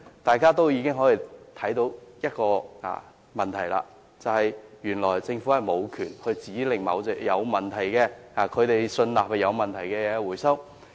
大家已經可以看出問題，便是原來政府無權指令回收某種他們信納有問題的產品。